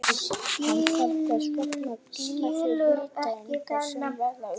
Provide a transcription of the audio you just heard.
Hann þarf þess vegna að geyma þær hitaeiningar sem verða umfram.